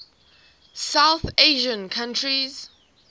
south asian countries